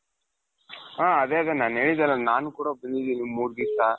ಹ ಅದೇ ಅದೇ ನಾನ್ ಹೇಳ್ದೆಲ್ಲಾ ನಾನು ಕೂಡ ಮೂರು ದಿವಸ